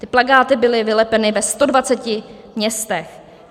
Ty plakáty byly vylepeny ve 120 městech.